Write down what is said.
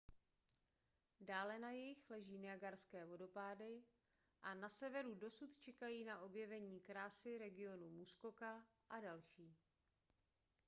dále na jih leží niagarské vodopády a na severu dosud čekají na objevení krásy regionu muskoka a další